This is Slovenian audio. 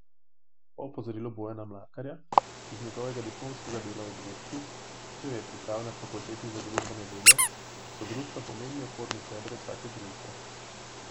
Po opozorilu Bojana Mlakarja iz njegovega diplomskega dela o društvih, ki jo je pripravil na fakulteti za družbene vede, so društva pomemben oporni steber vsake družbe.